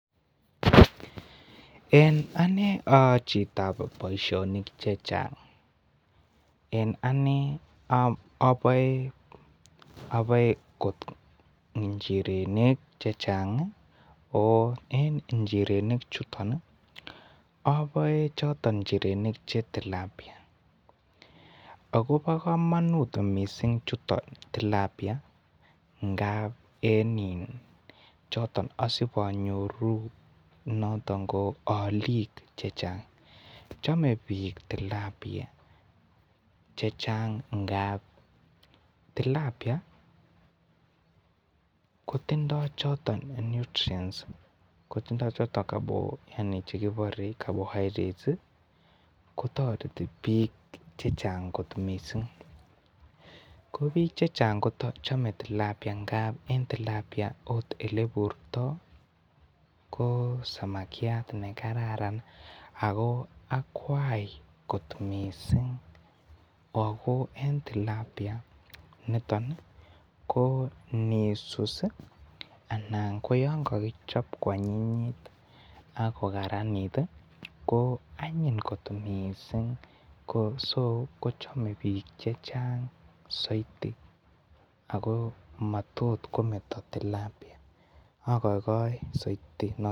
En ane ko a chitab boisionik chechang en ane oboe njirenik chechang ako en njirenichuto aboe njirenichoto bo tilapia ako bo kamanut njirenichuto bo tilapia ngap asib anyoruu noton alik Che Chang chome bik tilapia chechang ngap tilapia ko tindo choton nutrients tindo kora carbohydrates ko toreti bik chechang kot mising ko bik chechang ko chome tilapia ngap okot Ole iburto ko samakiat nekaran ako a kwai ago en tilapia niton ii ko nisus anan ko yon kokichob koanyinyit ak koranit koanyiny kot mising ko noton ko chome bik chechang soiti ako matot kometo tilapia agoegoe soiti tilapia